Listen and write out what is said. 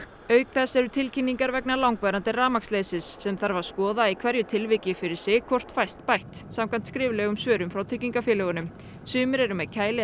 auk þess eru tilkynningar vegna langvarandi rafmagnsleysis sem þarf að skoða í hverju tilviki fyrir sig hvort fæst bætt samkvæmt skriflegum svörum frá tryggingafélögunum sumir eru með kæli